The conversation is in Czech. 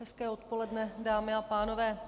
Hezké odpoledne, dámy a pánové.